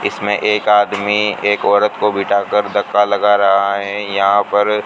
इसमें एक आदमी एक औरत को बिठाकर धक्का लगा रहा है यहां पर--